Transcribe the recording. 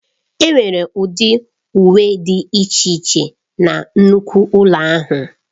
Enwere ụdị uwe dị iche iche na nnukwu ụlọ ahịa.